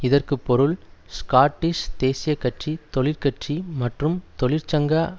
இதற்கு பொருள் ஸ்காட்டிஷ் தேசிய கட்சி தொழிற்கட்சி மற்றும் தொழிற்சங்க